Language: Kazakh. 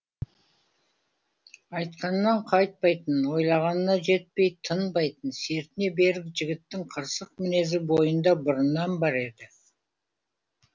айтқанынан қайтпайтын ойлағанына жетпей тынбайтын сертіне берік жігіттің қырсық мінезі бойында бұрыннан бар еді